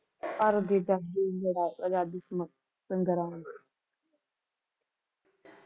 ਭਾਰਤ ਦੀ ਆਜ਼ਾਦੀ ਸੰਗਰਾਮ